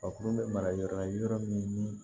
A kuru bɛ mara yɔrɔ la yɔrɔ min ni